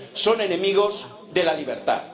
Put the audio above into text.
son enemigos de la libertad.